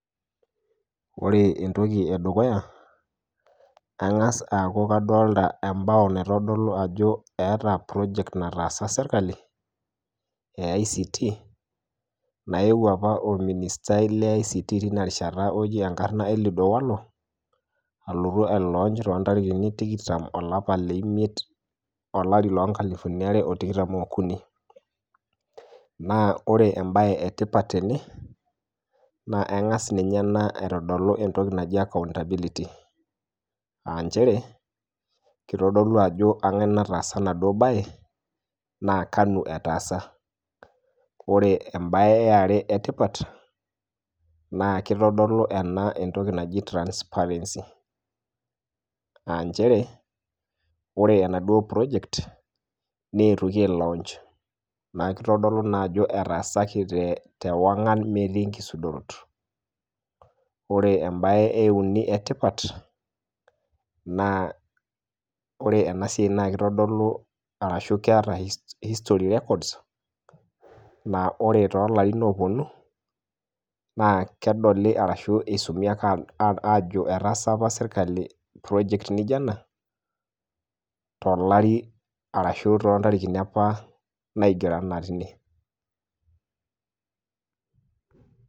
Ore entoki edukuya, eng'as aku kadolta ebao naitodolu ajo eeta project nataasa sirkali, e ICT, naewuo apa orministai le ICT tinarishata oji enkarna Eliud Owalo, alotu ai launch, intarikini tikitam olapa leimiet, olari lonkalifuni are otikitam okuni. Naa ore ebae etipat tene, naa eng'as ninye ena aitodolu entoki naji accountability. Ah njere, kitodolu ajo kang'ae nataasa enaduo bae, na kanu etaasa. Ore ebae eare etipat, na kitodolu ena entoki naji transparency. Ah njere, ore enaduo project, netoki ai launch. Neku kitodolu naa ajo etaasaki tewang'an metii nkisudorot. Ore ebae euni etipat, naa ore enasiai na kitodolu arashu keeta history records, na ore tolarin oponu, naa kedolu arashu isumi ake ajo etaasa apa sirkali project nijo ena, tolari arashu tontarikini apa naigero enaa tine.